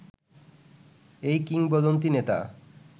এই কিংবদন্তী নেতা